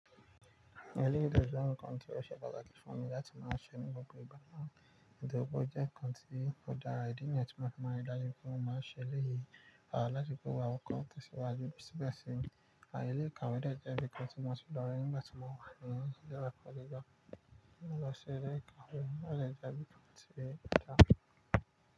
Eléyìí de je nkan ti o ṣe pàtàkì fún mi láti máa ṣe ní gbogbo ìgbá naa. Nítorí pe o jẹ́ nkàn tí ó dára, ìdí nìyen tí mo fi máa ń ri daju pé mọ máa n ṣe eléyìí. Àwọn láti gbé awon kán tẹ̀síwájú sí bẹ́ẹ̀ sì ń. Ààyè ilé ìkàwé náà jẹ́ ibi kan tí mo ti lọ rí nígbà tí mo wà ní ile ekọ́ gíga. Nígbà tí mo ṣe ilé ìkàwé, ó jẹ́ ibi kan tí ó dára.